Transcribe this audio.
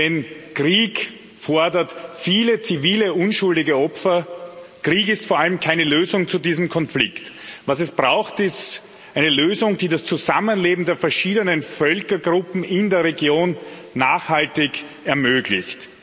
Denn Krieg fordert viele zivile, unschuldige Opfer, Krieg ist vor allem keine Lösung zu diesem Konflikt. Was es braucht, ist eine Lösung, die das Zusammenleben der verschiedenen Völkergruppen in der Region nachhaltig ermöglicht.